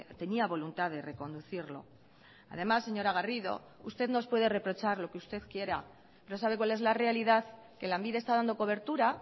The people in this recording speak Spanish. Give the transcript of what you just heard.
tenía voluntad de reconducirlo además señora garrido usted nos puede reprochar lo que usted quiera pero sabe cuál es la realidad que lanbide está dando cobertura